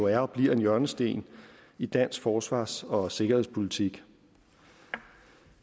er og bliver en hjørnesten i dansk forsvars og sikkerhedspolitik